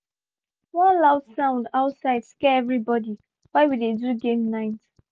one loud sound outside scare everybody while we dey do game night